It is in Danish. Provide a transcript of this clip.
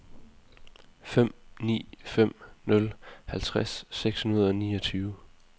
fem ni fem nul halvtreds seks hundrede og niogtyve